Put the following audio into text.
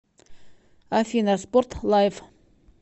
афина спорт лайв